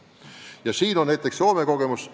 Aga meil on teada näiteks Soome kogemus.